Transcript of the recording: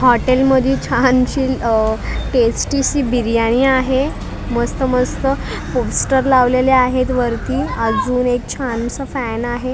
हॉटेलमध्ये छानशी टेस्टीशी बिर्याणी आहे मस्त मस्त पोस्टर लावलेले आहेत वरती अजून एक छानसा फॅन आहे.